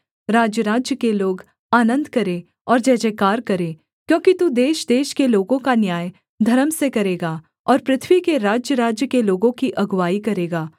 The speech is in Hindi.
राज्यराज्य के लोग आनन्द करें और जयजयकार करें क्योंकि तू देशदेश के लोगों का न्याय धर्म से करेगा और पृथ्वी के राज्यराज्य के लोगों की अगुआई करेगा सेला